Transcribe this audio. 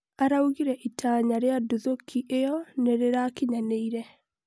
araũgire 'itanya' ria nduthoki ĩyo nĩrĩrakinyanĩire